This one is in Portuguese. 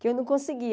que eu não conseguia.